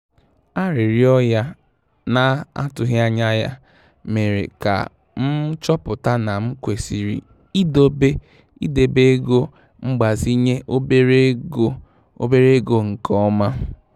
Arịrịọ ya na-atụghị anya ya mere ka m chọpụta na m kwesịrị ịdebe ego mgbazinye obere ego obere ego nke ọma.